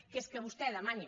que és que vostè demani